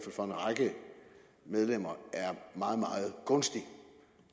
for en række medlemmer er meget meget gunstig